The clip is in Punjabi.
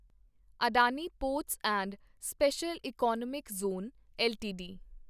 Adani ports and special economic zone LTD